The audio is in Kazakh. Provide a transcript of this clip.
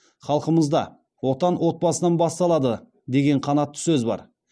халқымызда отан отбасынан басталады деген қанатты сөз бар